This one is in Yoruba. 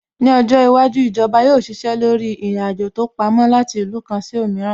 Ní ọjọ́ iwájú, Ìjọba yóò ṣiṣẹ́ lórí ìrìn-àjò tó pamó láti ìlú kan sí òmíràn